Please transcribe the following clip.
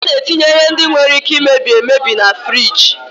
Ana etinye ihe ndị nwere Ike imebi emebi na furige.